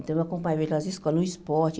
Então, eu acompanhava eles nas escolas, no esporte.